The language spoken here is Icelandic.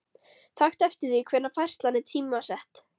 Taktu eftir því hvenær færslan er tímasett.